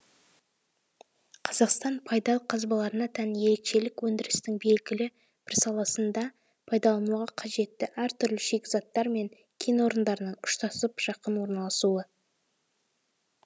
қазақстан пайдалы қазбаларына тән ерекшелік өндірістің белгілі бір саласында пайдалануға қажетті әр түрлі шикізаттар мен кен орындарының ұштасып жақын орналасуы